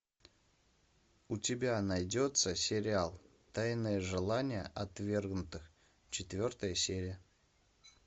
у тебя найдется сериал тайное желание отвергнутых четвертая серия